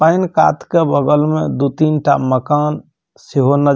के बगल में दू तीन टा मकान से बनल --